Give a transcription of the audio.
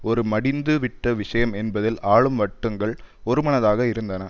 ஒரு மடிந்து விட்ட விஷயம் என்பதில் ஆளும் வட்டங்கள் ஒருமனதாக இருந்தன